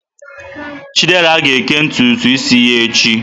Chidera ga-eke ntutu isi ya echi.